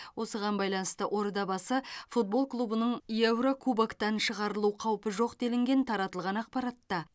осыған байланысты ордабасы футбол клубының еурокубоктан шығарылу қаупі жоқ делінген таратылған ақпаратта